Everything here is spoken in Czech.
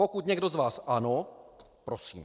Pokud někdo z vás ano, prosím.